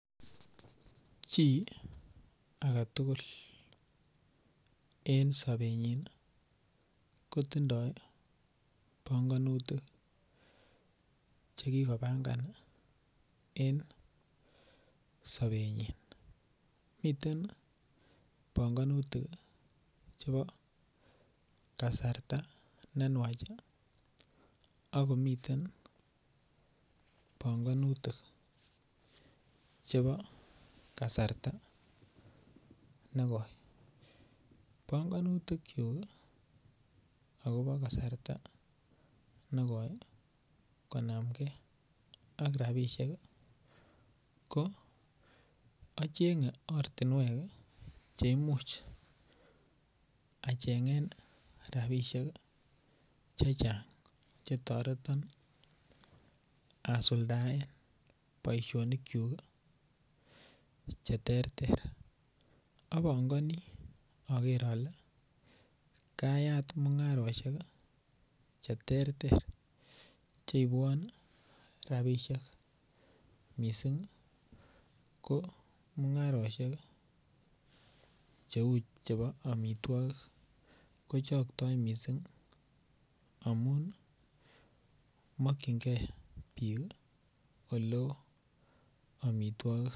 Chi aketugul en sobenyin kotindo bongonutik chekikopangan en sobenyin moten bongonutik chebo kasarta nenywach ak komiten bongonutik chebo kasarta nekoi, bongonutikyuk alono kasarta nekoi konam ak rabishek ko ochenge ortinwek cheimuch achemge rabishek chechang chetoreton asuldaen boisionikyuk cheterter, obongoni pker ole kayat mungaroshek cheterter cheibwon rabishek missing' komungaroshek cheu chebo omitwogik kochoktoi missing' amun mokyingee bik oleo omitwogik.